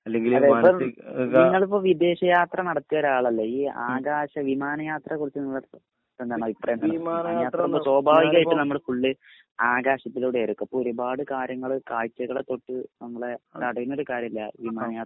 അതെ പ്പം ഇങ്ങൾപ്പോ വിദേഷ യാത്ര നടത്തിയ ഒരാളല്ലെ ഈ ആകാശ വിമാനയാത്ര കുറിച്ച് നിങ്ങളെരുത് എന്താണ് അഭിപ്രായം സോഭാവികയിട്ടനമ്മൾ ഫുൾ ആകാശത്തിലൂടെയായിരിക്കും അപ്പൊ ഒരുപാട് കാര്യങ്ങള് കാഴ്ചകളെ തൊട്ട് നമ്മളെ തടയിണൊരു കാര്യല്ലേ വിമാനയാത്ര